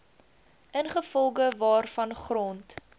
ingevolge waarvan grond